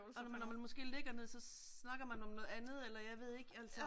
Og når man når man måske ligger ned så snakker man om noget andet eller jeg ved ikke altså